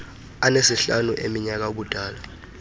anesihlanu eminyaka ubudala